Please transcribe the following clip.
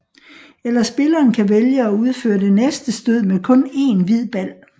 Eller spilleren kan vælge at udføre det næste stød med kun én hvid bal